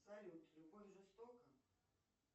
салют любовь жестока